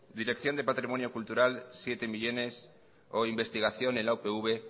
dirección de patrimonio cultural siete millónes o investigación en la upv